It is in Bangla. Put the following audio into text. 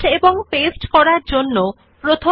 000529 000502 প্রথমে মথার্স এর পরের NAMEশব্দটি মুছে দিন